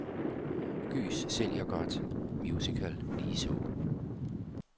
Gys sælger godt, musical ligeså.